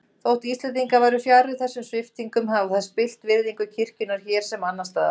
Þótt Íslendingar væru fjarri þessum sviptingum hafa þær spillt virðingu kirkjunnar hér sem annars staðar.